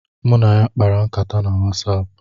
Mụ na ya kpara nkata na Wasaapu